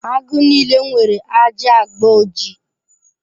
Agụ niile nwere ajị agba ojii.